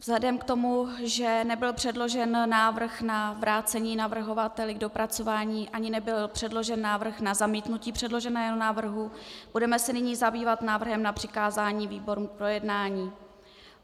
Vzhledem k tomu, že nebyl předložen návrh na vrácení navrhovateli k dopracování ani nebyl předložen návrh na zamítnutí předloženého návrhu, budeme se nyní zabývat návrhem na přikázání výborům k projednání.